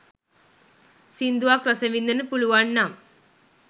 සිංදුවක් රස විදින්න පුළුවන්නම්